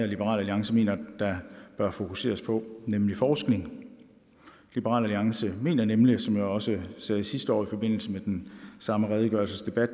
liberal alliance mener der bør fokuseres på nemlig forskning liberal alliance mener nemlig som jeg også sagde sidste år i forbindelse med den samme redegørelsesdebat